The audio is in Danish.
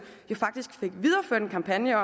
faktisk fik videreført en kampagne